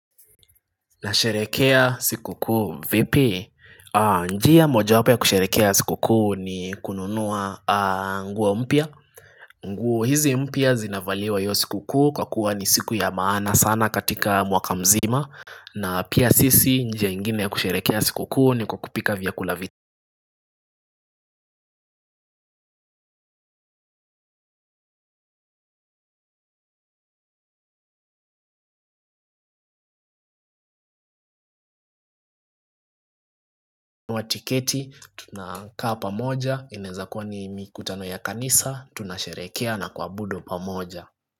Na sherehekea siku kuu vipi? Njia moja wapo kusherekea siku kuu ni kununuwa nguo mpya. Nguo hizi mpya zinavaliwa hiyo siku kuu kwa kuwa ni siku ya maana sana katika mwaka mzima. Na pia sisi njia ingine ya kusherekea siku kuu ni kwa kupika vyakula vi nunua tiketi tunakaa pamoja inaeza kuwa ni mikutano ya kanisa tunasherehekea na kuabudu pamoja.